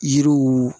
Yiriw